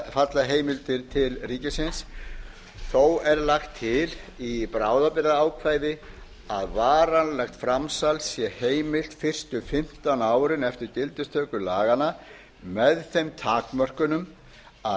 falla heimildir til ríkisins þó er lagt til í bráðabirgðaákvæði að varanlegt framsal sé heimilt fyrstu fimmtán árin eftir gildistöku laganna með þeim takmörkun að